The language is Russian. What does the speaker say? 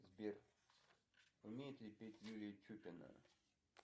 сбер умеет ли петь юлия чукина